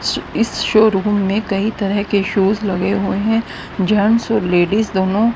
इस शोरूम में कई तरह के शूज़ लगे हुए हैं जेंट्स और लेडीज दोनों--